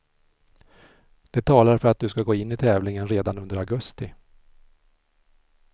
Det talar för att du ska gå in i tävlingen redan under augusti.